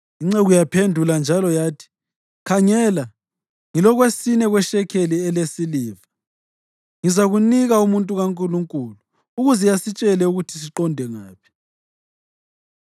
Inceku yaphendula njalo yathi, “Khangela, ngilokwesine kweshekeli elesiliva. Ngizakunika umuntu kaNkulunkulu ukuze asitshele ukuthi siqonde ngaphi.”